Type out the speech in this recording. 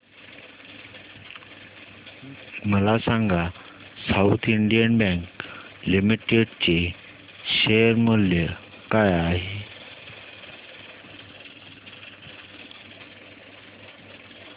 मला सांगा South Indian Bank Limited चे शेअर मूल्य काय आहे